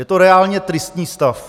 Je to reálně tristní stav.